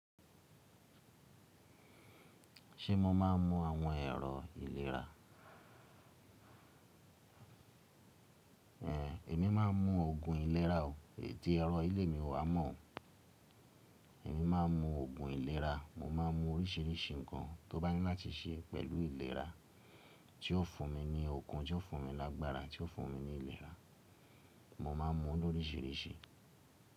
Ṣé mo máa ń mu àwọn ẹ̀rọ ìlera? Ẹ̀, èmi má a ń mu Ògùn ìlera o. Èyí tí ẹ̀rọ́ lé mi ò wá mọ́ o. Èmi má a ń mu Ògùn ìlera, mo máa ń mu oríṣiríṣi nǹkan tó bá ní láti ṣe pẹ̀lú ìlera. Tí ó fún mi ní okun, tí ó fún mi lágbára, tí ó fún mi ní ìlera. Mo máa ń mu ú lóríṣiríṣi.